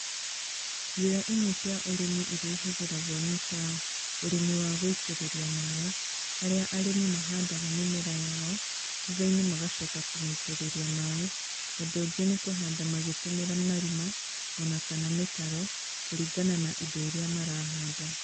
‎Njĩra imwe cia ũrĩmi iria ihũthĩragwo nĩ ta, ũrĩmi wa gũitĩrĩria maĩ, haria arĩmi mahandaga mĩmera yao, thutha-inĩ magacoka kũmĩitĩrĩria maĩ, ũndũ ũngĩ nĩ kũhanda magĩtũmĩra marima, ona kana mĩtaro kũringana na indo iria marahanda